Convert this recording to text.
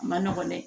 A ma nɔgɔn dɛ